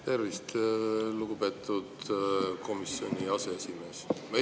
Tervist, lugupeetud komisjoni aseesimees!